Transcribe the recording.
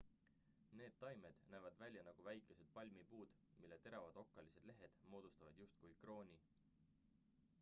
need taimed näevad välja nagu väikesed palmipuud mille teravad okkalised lehed moodustavad justkui krooni